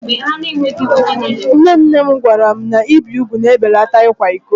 Nne nne m gwara anyị na ibi úgwù na-ebelata ịkwa iko.